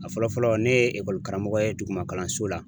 A fɔlɔ fɔlɔ ne ye karamɔgɔ ye duguma kalanso la.